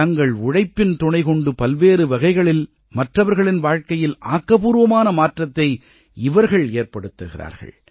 தங்கள் உழைப்பின் துணை கொண்டு பல்வேறு வகைகளில் மற்றவர்களின் வாழ்க்கையில் ஆக்கப்பூர்வமான மாற்றத்தை இவர்கள் ஏற்படுத்துகிறார்கள்